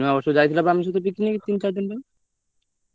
ତମେ ସିନା ଯାଇଥିଲ ନୂଆବର୍ଷକୁ ମୁଁ ତ ନୂଆବର୍ଷ କୁ ପୁରୀ ପଳେଇଥିଲି ତମେ କୋଉଜାଗା ଯାଇଥିଲ?